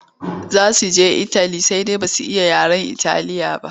Za su je itali sai dai ba su iya yaren Italiya ba.